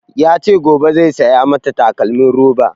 Ya ce gobe zai saya mata takalmin roba